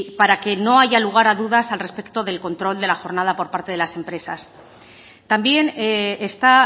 para que no haya lugar a dudas al respecto del control de la jornada por parte de las empresas también está